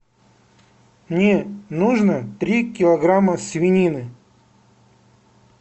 мне нужно три килограмма свинины